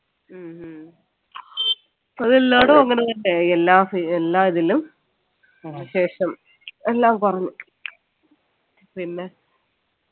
ഹ്മ്മ് അതല്ലാടെയും അങ്ങനെ തന്നെയായി എല്ലാ എല്ലാ ഇതിലും ശേഷം എല്ലാം കുറഞ്ഞു പിന്നെ